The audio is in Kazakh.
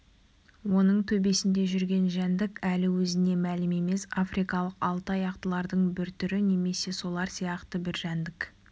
оның төбесінде жүрген жәндік әлі өзіне мәлім емес африкалық алты аяқтылардың бір түрі немесе солар сияқты бір жәндік